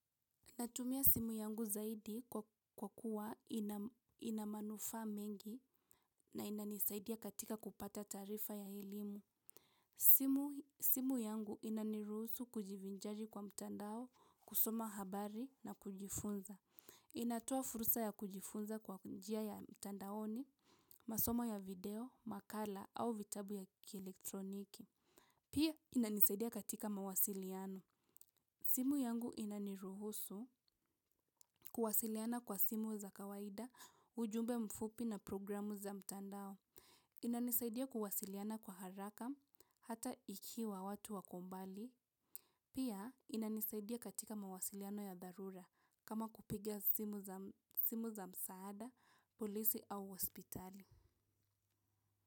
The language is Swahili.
Natumia simu yangu zaidi kwa kuwa ina manufaa mengi na inanisaidia katika kupata taarifa ya elimu. Simu simu yangu inaniruhusu kujivinjari kwa mtandao, kusoma habari na kujifunza. Inatoa fursa ya kujifunza kwa njia ya mtandaoni, masomo ya video, makala au vitabu ya kielektroniki. Pia inanisaidia katika mawasiliano. Simu yangu inaniruhusu kuwasiliana kwa simu za kawaida, ujumbe mfupi na programu za mtandao. Inanisaidia kuwasiliana kwa haraka hata ikiwa watu wako mbali. Pia inanisaidia katika mawasiliano ya dharura kama kupiga simu za msaada, polisi au hospitali.